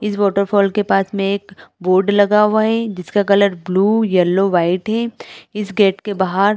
इस waterfall के पास में एक बोर्ड लगा हुआ है जिसका कलर ब्लू येलो वाइट है इस गेट के बाहर--